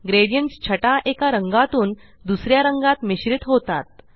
gradients छटा एका रंगातून दुसऱ्या रंगात मिश्रित होतात